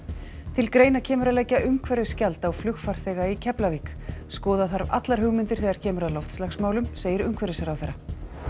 til greina kemur að leggja umhverfisgjald á flugfarþega í Keflavík skoða þarf allar hugmyndir þegar kemur að loftslagsmálum segir umhverfisráðherra